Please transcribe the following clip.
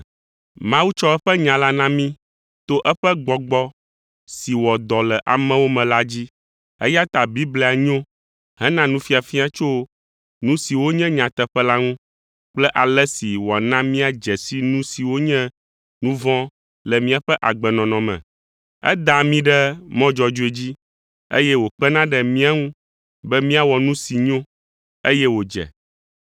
Mawu tsɔ eƒe nya la na mí to eƒe Gbɔgbɔ si wɔ dɔ le amewo me la dzi, eya ta Biblia nyo hena nufiafia tso nu siwo nye nyateƒe la ŋu kple ale si wòana míadze si nu siwo nye nu vɔ̃ le míaƒe agbenɔnɔ me. Edaa mí ɖe mɔ dzɔdzɔe dzi, eye wòkpena ɖe mía ŋu be míawɔ nu si nyo, eye wòdze.